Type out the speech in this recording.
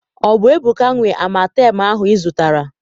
Ọ bụ Ebuka nwe amatem ahụ ị zụtara?